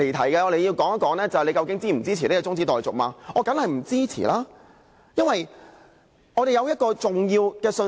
現在大家要說的是究竟是否支持中止待續，我當然是不支持，因為我們要表達重要的信息。